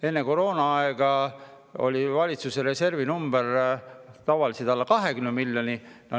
Enne koroonaaega oli valitsuse reservis tavaliselt alla 20 miljoni.